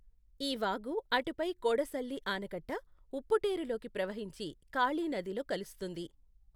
ఈ వాగు అటుపై కోడసళ్లి ఆనకట్ట ఉప్పుటేఱులోకి ప్రవహించి కాళి నదిలో కలుస్తుంది.